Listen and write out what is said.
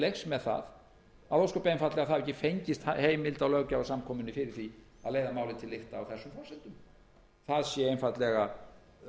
leiks með það ósköp einfaldlega að það hafi ekki fengist heimild á löggjafarsamkomunni fyrir því að leiða málið til lykta á þessum forsendum það sé einfaldlega